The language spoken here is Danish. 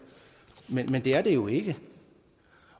men det er der jo ikke